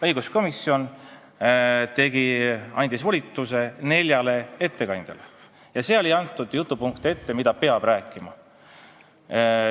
Õiguskomisjon andis volituse neljale ettekandjale ja ei antud ette jutupunkte, mida peab rääkima.